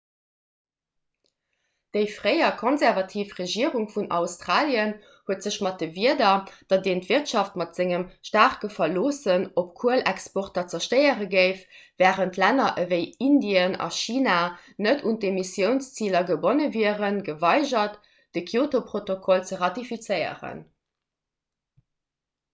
déi fréier konservativ regierung vun australien huet sech mat de wierder datt een d'wirtschaft mat sengem staarke verloossen op kuelexporter zerstéiere géif wärend länner ewéi indien a china net un d'emissiounsziler gebonne wieren geweigert de kyoto-protokoll ze ratifizéieren